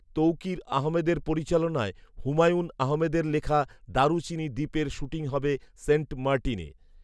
তৌকীর আহমেদের পরিচালনায় হুমায়ূন আহমেদের লেখা দারুচিনি দ্বীপের শুটিং হবে সেন্ট মার্টিনে